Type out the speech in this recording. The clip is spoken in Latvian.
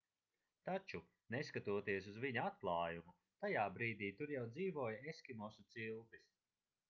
taču neskatoties uz viņa atklājumu tajā brīdī tur jau dzīvoja eskimosu ciltis